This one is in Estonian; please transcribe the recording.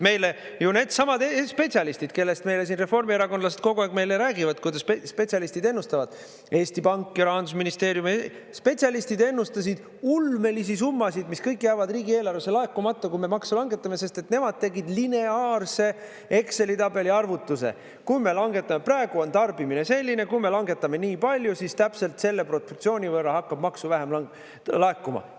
Meile ju needsamad spetsialistid, kellest meile siin reformierakondlased kogu aeg meile räägivad, kuidas spetsialistid ennustavad, Eesti Pank ja Rahandusministeeriumi spetsialistid ennustasid ulmelisi summasid, mis kõik jäävad riigieelarvesse laekumata, kui me makse langetame, sest nemad tegid lineaarse Exceli tabeli arvutuse: kui me langetame, praegu on tarbimine selline, kui me langetame ni palju, siis täpselt selle proportsiooni võrra hakkab maksu vähem laekuma.